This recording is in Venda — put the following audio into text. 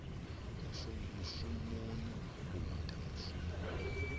mushumoni u ita mushumo wonoyo